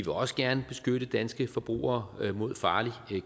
også gerne beskytte danske forbrugere mod farlig